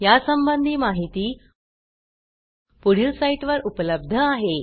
या संबंधी माहिती पुढील साईटवर उपलब्ध आहे